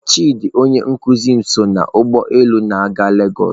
Chidi onye nkuzi m so n'ụgbọ elu a na-aga lagos.